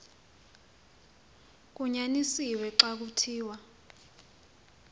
kunyanisiwe xa kuthiwa